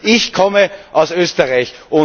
Ich komme aus Österreich.